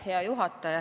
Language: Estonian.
Hea juhataja!